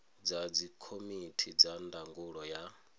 kha dzikomiti dza ndangulo ya